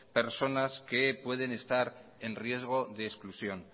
personas que pueden estar en riesgo de exclusión